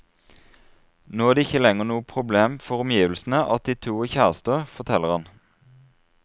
Nå er det ikke lenger noe problem for omgivelsene at de to er kjærester, forteller han.